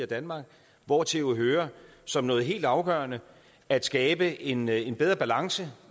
danmark hvortil jo hører som noget helt afgørende at skabe en en bedre balance